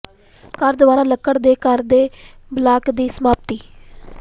ਘਰ ਦੁਆਰਾ ਲੱਕੜ ਦੇ ਘਰ ਦੇ ਬਲਾਕ ਦੀ ਸਮਾਪਤੀ